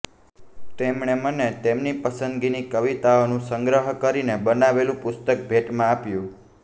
તેમણે મને તેમની પસંદગીની કવિતાઓનો સંગ્રહ કરીને બનાવેલુ પુસ્તક ભેટમાં આપ્યું